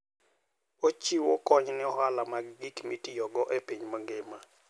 Ochiwo kony ne ohala mag gik mitiyogo e piny mangima.